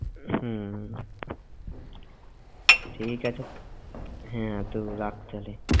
হম ঠিক আছে হ্যাঁ তো রাখ তাহলে।